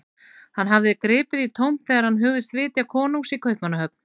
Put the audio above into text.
Hann hafði gripið í tómt þegar hann hugðist vitja konungs í Kaupmannahöfn.